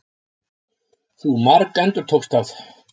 Þú margendurtókst það.